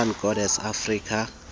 sun goddess afika